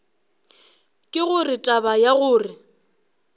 ke gore taba ya gore